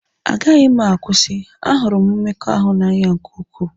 Agaghị m akwụsị, ahụrụ m mmekọahụ n'anya nke ukwuu.